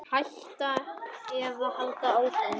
Hætta eða halda áfram?